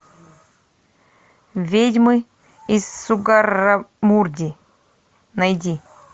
ведьмы из сугаррамурди найди